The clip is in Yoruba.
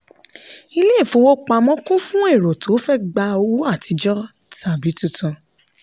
ilé ìfowópamọ́ kún fún èrò tó fẹ gba owó àtijọ tàbí tuntun.